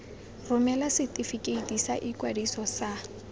romela setefikeiti sa ikwadiso sa